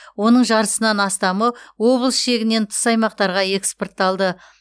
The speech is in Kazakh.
оның жартысынан астамы облыс шегінен тыс аймақтарға экспортталды